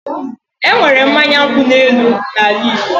Enwere mmanya nkwu elu na ala Igbo